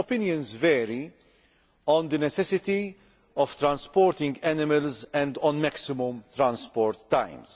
Opinions vary on the necessity of transporting animals and on maximum transport times.